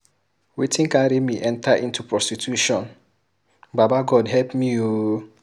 Wetin carry me enter into prostitution, Baba God help me ooo